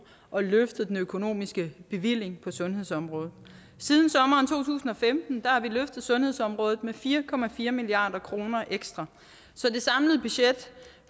og løftet den økonomiske bevilling sundhedsområdet siden sommeren to tusind og femten har vi løftet sundhedsområdet med fire fire milliard kroner ekstra så det samlede budget